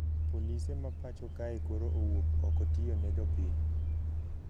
Polise ma pacho kae koro owuok oko tiyo ne jopiny